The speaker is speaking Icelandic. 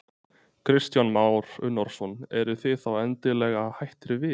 Kristján Már Unnarsson: Eruð þið þá endanlega hættir við?